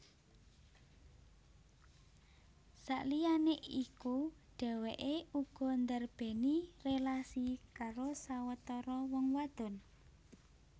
Saliyané iku dhèwèké uga ndarbèni rélasi karo sawetara wong wadon